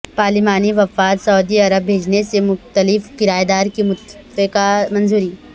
پارلیمانی وفد Saudi Arab بھیجنے سے متعلق قراردادکی متفقہ منظوری